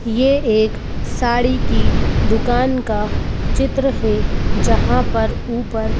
यह एक साड़ी की दुकान का चित्र है जहां पर ऊपर--